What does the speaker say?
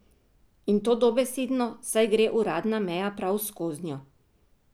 In to dobesedno, saj gre uradna meja prav skoznjo.